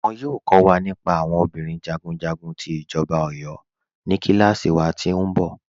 Wọn yọọ kọ̀ wa nípà àwọn obìnrin jagunjagun ti Ijọba Ọ̀yọ̀ ní kílàsí wà tí nbọ̀.